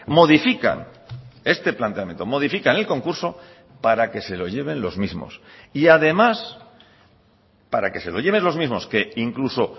modifican este planteamiento modifican el concurso para que se lo lleven los mismos y además para que se lo lleven los mismos que incluso